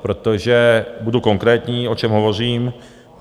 Budu konkrétní, o čem hovořím.